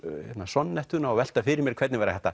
Sonnettuna og velta fyrir mér hvernig væri hægt að